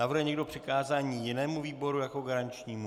Navrhuje někdo přikázání jinému výboru jako garančnímu?